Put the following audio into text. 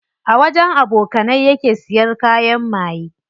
A wajen abokanai yake siya kayan maye.